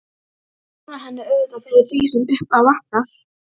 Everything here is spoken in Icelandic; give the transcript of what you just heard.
Ég lána henni auðvitað fyrir því sem upp á vantar.